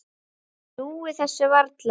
Trúir þessu varla.